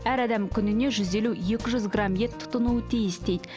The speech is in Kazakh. әр адам күніне жүз елу екі жүз грамм ет тұтыну тиіс дейді